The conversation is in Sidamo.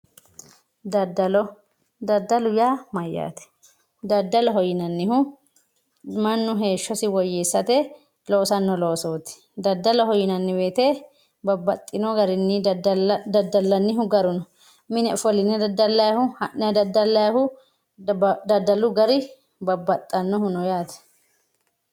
Dadalo dadalu ya mayate dadaloho yinanihu manu heshosi woyesate losano losoti dadaloho yinanni woyite babaxino garini dadananihu garu no mine ofoline dadalayhu hanayi dadalayhu dadalu gari babaxanohu no yate